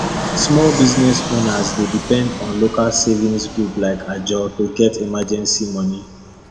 small business owners dey depend on local savings group like ajo to get emergency money